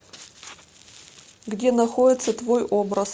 где находится твой образ